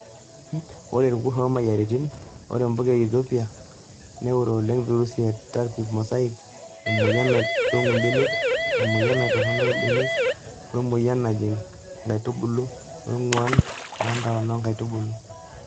Ore Irkurt omoyiaritin :Ore mpuka e Ethopia neure oleng' virusi ee turnip mosaic ,emoyian naitong'u mbenek, emoyian naitorok imbenek, wemoyian najing nkaitubulu weng'uan oo ntona onkaitubulu.